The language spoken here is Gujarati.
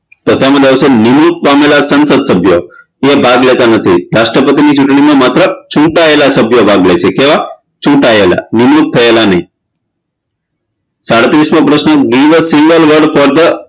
તો તેમ આવશે નિવૃત પામેલા સાંસદસભ્ય તે ભાગ લેતા નથી રાષ્ટ્રપતિની ચુંટણીમાં માત્ર ચૂંટાયેલા સભ્ય ભાગ લેશે કેવા ચૂટાયેલા નિવૃત થયેલા નહીં સાડત્રીશમો પ્રશ્ન give a single word for the